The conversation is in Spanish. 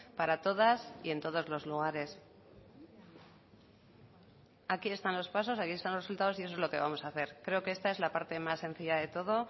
para todas y en todos los lugares aquí están los pasos aquí están los resultados y eso es lo que vamos a hacer creo que esta es la parte más sencilla de todo